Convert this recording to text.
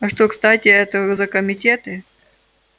а что кстати это за комитеты